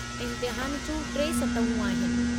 इम्तिहान जूं टे सतहूं आहिनि।